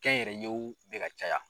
Kɛnyɛrɛyew bɛ ka caya.